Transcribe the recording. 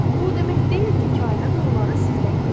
Bu o demək deyil ki, Kainat onları sizdən gizlədir.